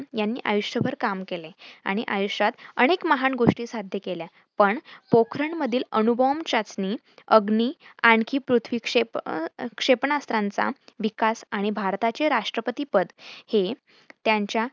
यांनी आयुष्यभर काम केले आणि आयुष्यात अनेक महान गोष्टी साध्य केल्या, पण पोखरण मधील अणूबॉम्ब चाचणी, अग्नि आणखी पृथ्वी क्षेपणा अं क्षेपणाश्रांचा विकास आणि भारताचे राष्ट्रपती पद हे त्यांच्या